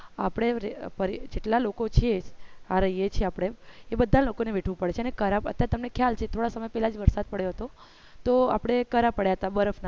આપડે જેટલા લોકો છીએ આ રહીએ છીએ આપણે એ બધા લોકોને વેઠવું પડે છે કરા અને અત્યારે તમને ખ્યાલ છે થોડા સમય પેલા જ વરસાદ તો આપણે કરા પડ્યા હતા બરફ